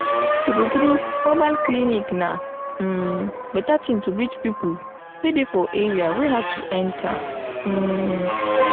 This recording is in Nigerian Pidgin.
true true mobile clinic na um better thing to reach people wey dey for area wey hard to enter. um